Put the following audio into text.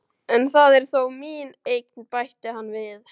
En það er þó mín eign, bætti hann við.